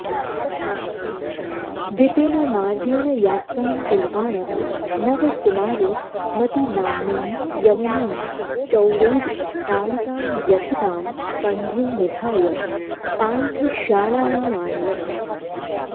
विपिनमार्गेण यात्रां कुर्वाणः नवकुमारो मतिनाम्नीं यवनीं चौरैः ताडितां व्यथितां स्कन्धे निधाय पान्थशालायामानयत्